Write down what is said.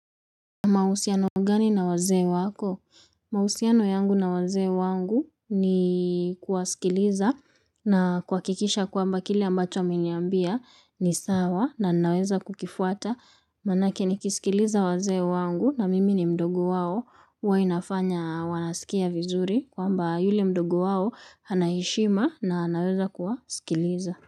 Mahusiano gani na wazee wako? Mahusiano yangu na wazee wangu ni kuwasikiliza na kuhakikisha kwamba kile ambacho ameniambia ni sawa na ninaweza kukifuata manake nikisikiliza wazee wangu na mimi ni mdogo wao huwa inafanya wanasikia vizuri kwamba yule mdogo wao ana heshima na anaweza kuwasikiliza.